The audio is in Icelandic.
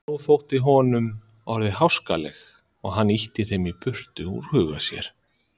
Nú þóttu honum orðin háskaleg og hann ýtti þeim burt úr huga sér.